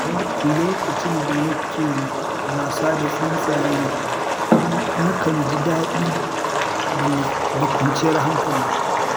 Lokacin da nake wasa da tsuntsaye, nakan ji daɗi da kwanciyar hankali.